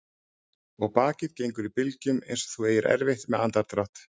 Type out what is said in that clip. Og bakið gengur í bylgjum einsog þú eigir erfitt með andardrátt.